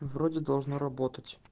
вроде должна работать